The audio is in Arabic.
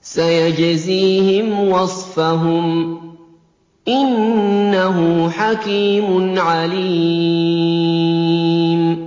سَيَجْزِيهِمْ وَصْفَهُمْ ۚ إِنَّهُ حَكِيمٌ عَلِيمٌ